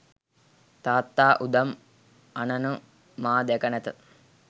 තාත්තා උදම් අනනු මා දැක නැත.